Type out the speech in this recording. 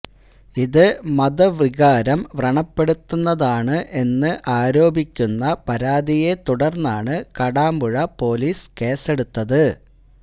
ഇതു മതവികാരം വ്രണപ്പെടുത്തുന്നതാണ് എന്ന് ആരോപിക്കുന്ന പരാതിയെത്തുടര്ന്നാണ് കാടാമ്പുഴ പൊലീസ് കേസെടുത്തത്